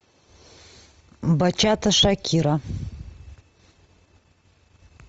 бачата шакира